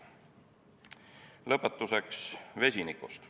Lõpetuseks vesinikust.